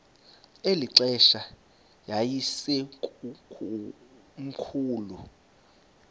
eli xesha yayisekomkhulu